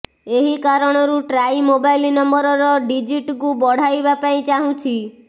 ଏହି କାରଣରୁ TRAI mobile ନମ୍ବରର ଡ଼ିଜିଟକୁ ବଢାଇବା ପାଇଁ ଚାଁହୁଛି